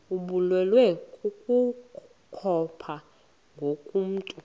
ibulewe kukopha ngokomntu